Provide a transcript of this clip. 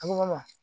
A ko ma